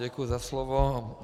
Děkuji za slovo.